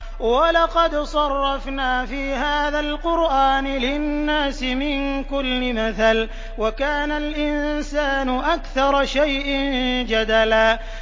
وَلَقَدْ صَرَّفْنَا فِي هَٰذَا الْقُرْآنِ لِلنَّاسِ مِن كُلِّ مَثَلٍ ۚ وَكَانَ الْإِنسَانُ أَكْثَرَ شَيْءٍ جَدَلًا